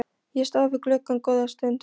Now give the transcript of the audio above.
Ég stóð við gluggann góða stund.